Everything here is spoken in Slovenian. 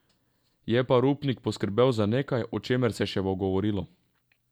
Je pa Rupnik poskrbel za nekaj, o čemer se bo še govorilo.